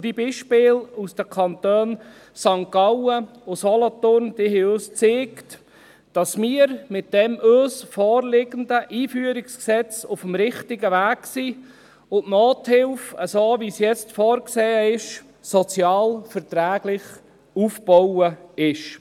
Die Beispiele aus den Kantonen St. Gallen und Solothurn haben uns gezeigt, dass wir mit dem uns vorliegenden Einführungsgesetz auf dem richtigen Weg sind und die Nothilfe so, wie sie jetzt vorgesehen ist, sozial verträglich aufgebaut ist.